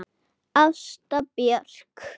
Ásta Björk.